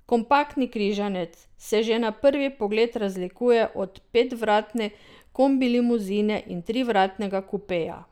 Kompaktni križanec se že na prvi pogled razlikuje od petvratne kombilimuzine in trivratnega kupeja.